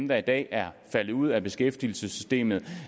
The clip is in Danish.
der i dag er faldet ud af beskæftigelsessystemet